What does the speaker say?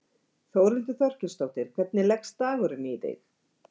Þórhildur Þorkelsdóttir: Hvernig leggst dagurinn í þig?